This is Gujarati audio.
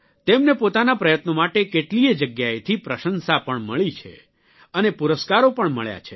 તેમને પોતાના પ્રયત્નો માટે કેટલીયે જગ્યાએ પ્રશંસા પણ મળી છે અને પુરસ્કારો પણ મળ્યા છે